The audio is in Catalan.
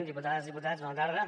diputades i diputats bona tarda